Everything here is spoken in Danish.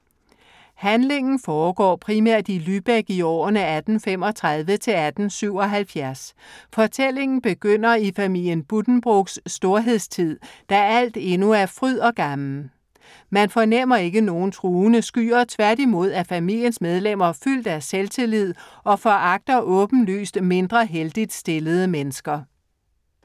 Handlingen foregår primært i Lübeck i årene 1835 til 1877. Fortællingen begynder i familien Buddenbrooks storhedstid, da alt endnu er fryd og gammen. Man fornemmer ikke nogen truende skyer, tværtimod er familiens medlemmer fyldt af selvtillid og foragter åbenlyst mindre heldigt stillede mennesker.